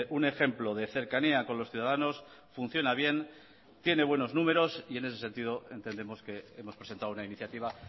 un ejemplo de cercanía con los ciudadanos funciona bien tiene buenos números y en ese sentido entendemos que hemos presentado una iniciativa